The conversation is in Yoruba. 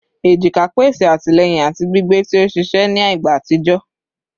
ejika pese atilẹyin ati gbigbe ti o ṣiṣẹ ni igba atijọ